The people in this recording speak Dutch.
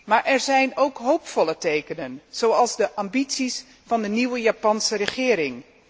Maar er zijn ook hoopvolle tekens, zoals de ambities van de nieuwe Japanse regering.